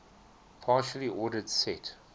partially ordered set